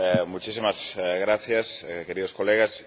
Muchísimas gracias, queridos colegas.